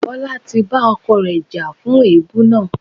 Bola ti bá ọkọ rẹ̀ jà fún èébú náà.